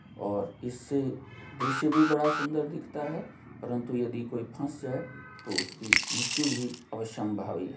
और इससे दृश्य भी बड़ा सुंदर दिखता है परंतु यदि कोई फस जाए तो उसकी मृत्यु भी आवश्यशम्भावी है।